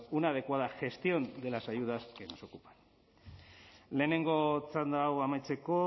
una adecuada gestión de las ayudas que nos ocupa lehenengo txanda hau amaitzeko